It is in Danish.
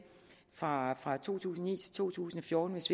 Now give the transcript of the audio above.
fra fra to tusind og ni til to tusind og fjorten hvis